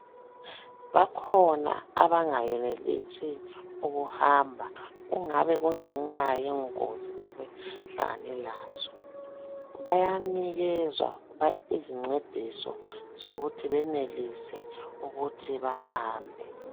Bakhona abangeyenelisi ukuhamba kungabe kungenxa yengozi abahlangane lazo. Bayanikezwa izincediso zokuthi benelise ukuthi behambe.